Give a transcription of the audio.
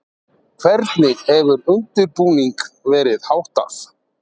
Hvernig hefur undirbúningi verið háttað?